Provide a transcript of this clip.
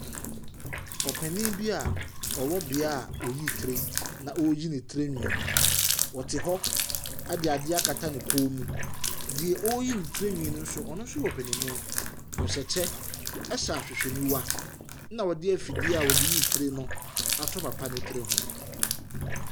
Ɔpanin bi a ɔwɔ beaeɛ a wɔyi tire na ɔreyi ne tirinwi. Ɔte hɔ de adeɛ akata ne kɔn mu. Deɛ ɔreyi ne tirinwi no, ɔno nso yɛ ɔpanin. Ɔhyɛ kyɛ hyɛ ahwehwɛniwa, ɛnna wɔde afifie wɔde yi tire no ato papa no tiri ho.